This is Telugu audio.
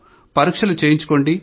పరీక్షలు చేయించుకోండి